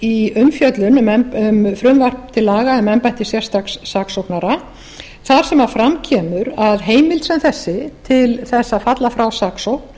í umfjöllun um frumvarp til laga um embætti sérstaks saksóknara þar sem fram kemur að heimild sem þessi til þess að falla frá saksókn